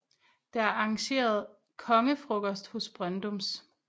Der er arrangeret kongefrokost hos Brøndums